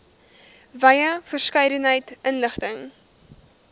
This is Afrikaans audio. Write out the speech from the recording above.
wye verskeidenheid inligting